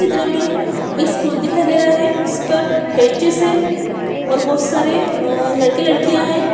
चित्र में एक स्कूल दिखाई दे रहा है जिस पर बेंचेस हैं और बहुत सारे अ लड़के-लड़कियां हैं।